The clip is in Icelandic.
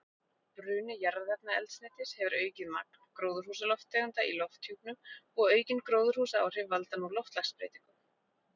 Bruni jarðefnaeldsneytis hefur aukið magn gróðurhúsalofttegunda í lofthjúpnum og aukin gróðurhúsaáhrif valda nú loftslagsbreytingum.